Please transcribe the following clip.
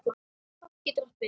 Kort getur átt við